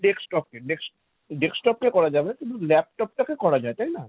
desktop কে desk~ desktop কে করা যাবে না কিন্তু laptop টাকে করা যায় তাই না?